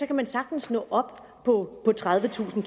kan man sagtens nå op på tredivetusind